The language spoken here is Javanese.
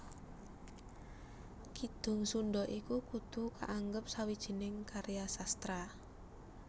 Kidung Sundha iku kudu kaanggep sawijining karya sastra